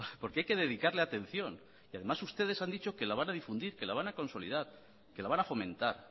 porque hay que dedicarle atención y además ustedes han dicho que la van a difundir que la van a consolidar que la van a fomentar